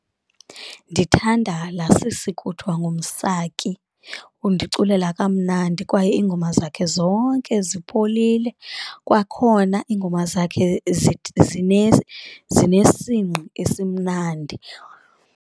Ndithanda laa sisi kuthwa nguMsaki, undiculela kamnandi kwaye iingoma zakhe zonke zipholile kwakhona iingoma zakhe zinesingqi esimnandi.